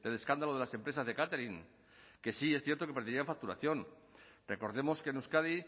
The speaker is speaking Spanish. escándalo de las empresas de catering que sí es cierto que perderían facturación recordemos que en euskadi